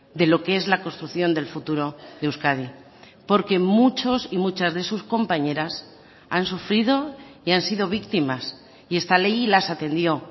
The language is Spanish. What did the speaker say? de lo que es la construcción del futuro de euskadi porque muchos y muchas de sus compañeras han sufrido y han sido víctimas y esta ley las atendió